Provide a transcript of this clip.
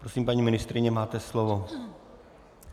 Prosím, paní ministryně máte slovo.